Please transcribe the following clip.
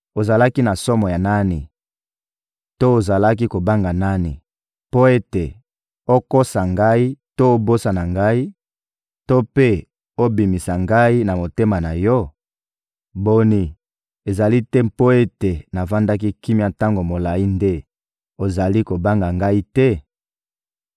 Ozalaki na somo ya nani to ozalaki kobanga nani mpo ete okosa Ngai to obosana Ngai, to mpe obimisa Ngai na motema na yo? Boni, ezali te mpo ete navandaki kimia tango molayi nde ozali kobanga Ngai te?